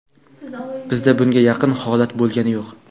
Bizda bunga yaqin holat bo‘lgani yo‘q.